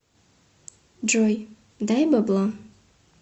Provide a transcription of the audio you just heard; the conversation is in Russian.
джой дай бабла